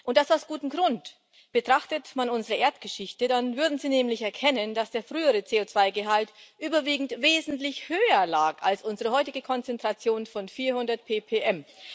Und das aus gutem Grund Betrachtet man unsere Erdgeschichte, dann würden sie nämlich erkennen, dass der frühere CO2-Gehalt überwiegend wesentlich höher lag als unsere heutige Konzentration von 400 ppm.